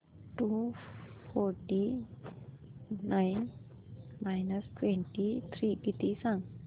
to forty nine minus twenty three किती गं